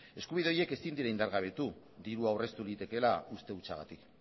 eskubide horiek ezin dira indargabetu dirua aurreztu litekeela uste hutsagatik